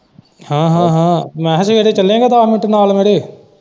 ਹਾਂ ਹਾਂ ਹਾਂ ਮੈਂ ਕਿਹਾ ਸਵੇਰੇ ਚੱਲੇਂਗਾ ਦਸ ਮਿੰਟ ਨਾਲ ਮੇਰੇ।